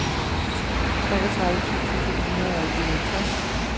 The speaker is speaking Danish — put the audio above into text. treogtredive tusind to hundrede og enoghalvtreds